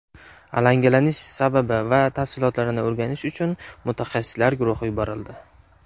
Alangalanish sababi va tafsilotlarini o‘rganish uchun mutaxassislar guruhi yuborildi.